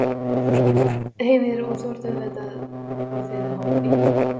Heimir: Og þú ert auðvitað og þið háð bílnum?